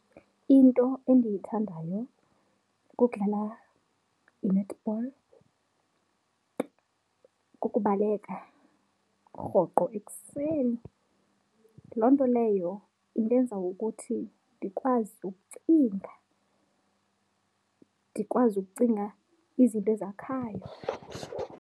Into endiyithandayo kukudlala i-netball, kukubaleka rhoqo ekuseni. Loo nto leyo indenza ukuthi ndikwazi ukucinga, ndikwazi ukucinga izinto ezakhayo.